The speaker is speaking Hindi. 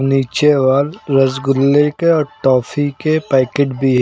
नीचे वॉल रसगुल्ले के और ट्रॉफी के पैकेट भी।